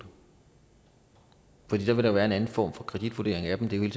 det vil der være en anden form for kreditvurdering af dem det er